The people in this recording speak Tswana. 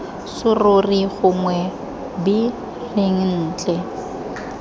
serori gongwe b reng ntle